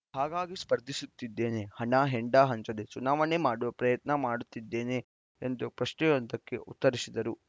ಹಾಗಾಗಿ ಸ್ಪರ್ಧಿಸುತ್ತಿದ್ದೇನೆ ಹಣ ಹೆಂಡ ಹಂಚದೆ ಚುನಾವಣೆ ಮಾಡುವ ಪ್ರಯತ್ನ ಮಾಡುತ್ತಿದ್ದೇನೆ ಎಂದು ಪ್ರಶ್ನೆಯೊಂದಕ್ಕೆ ಉತ್ತರಿಸಿದರು